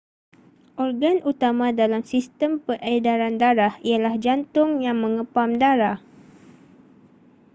organ utama dalam sistem peredaran darah ialah jantung yang mengepam darah